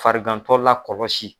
Farigantɔ lakɔlɔsi